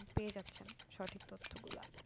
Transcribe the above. পেয়ে যাচ্ছেন সঠিক তথ্যগুলা